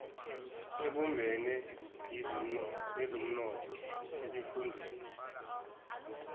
ebumbene yezomnotho esifundeni